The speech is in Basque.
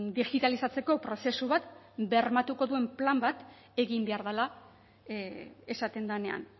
digitalizatzeko prozesu bat bermatuko duen plan bat egin behar dela esaten denean